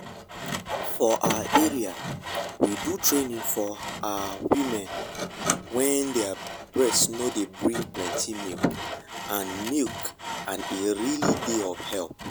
for our area we do training for ah women wen their breast nor dey bring plenty milk and milk and e really dey of help.